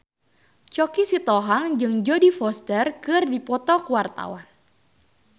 Choky Sitohang jeung Jodie Foster keur dipoto ku wartawan